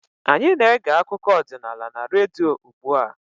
Anyị na-ege akụkọ ọdịnala na redio ugbu a